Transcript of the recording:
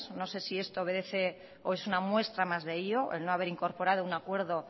no sé si esto obedece o es una muestra más de ello el no haber incorporado un acuerdo